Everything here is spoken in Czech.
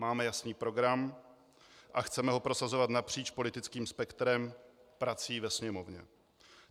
Máme jasný program a chceme ho prosazovat napříč politickým spektrem prací ve Sněmovně.